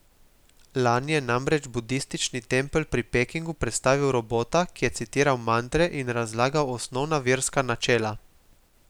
Lani je namreč budistični tempelj pri Pekingu predstavil robota, ki je citiral mantre in razlagal osnovna verska načela.